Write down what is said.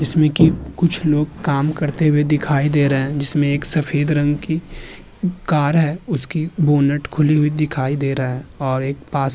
जिसमे की कुछ लोग काम करते हुऐ दिखाए दे रहे हैं जिसमे एक सफेद रंग की कार है। उसकी बोनट खुली हुए दिखाए दे रहा है और एक पास --